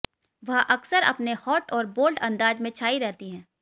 वह अक्सर अपने हॉट और बोल्ड अंदाज से छाई रहती हैं